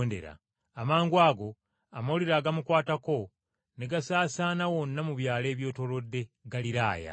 Amangwago amawulire agamukwatako ne gasaasaana wonna mu byalo ebyetoolodde Ggaliraaya.